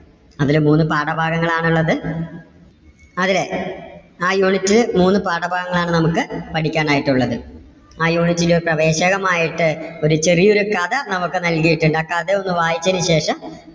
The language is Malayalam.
അതില് മൂന്ന് പാഠഭാഗങ്ങൾ ആണുള്ളത് അതില് ആ unit ല് മൂന്ന് പാഠഭാഗങ്ങൾ ആണ് നമുക്ക് പഠിക്കാൻ ആയിട്ടുള്ളത്. ആ unit ലെ പ്രവേശകമായിട്ട് ഒരു ചെറിയൊരു കഥ നമുക്ക് നൽകിയിട്ടുണ്ട്. ആ കഥ ഒന്ന് വായിച്ചതിന് ശേഷം,